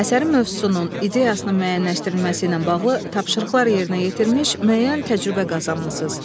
Əsərin mövzusunun, ideyasının müəyyənləşdirilməsi ilə bağlı tapşırıqlar yerinə yetirmiş, müəyyən təcrübə qazanmısınız.